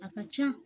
A ka ca